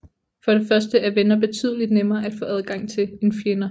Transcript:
For det første er venner betydeligt nemmere at få adgang til end fjender